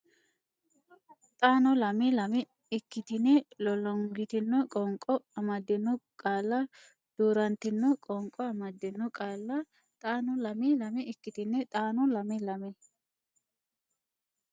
xaano lame lame ikkitine Lollongitino qoonqo amaddino qaalla Duu rantino qoonqo amaddino qaalla xaano lame lame ikkitine xaano lame lame.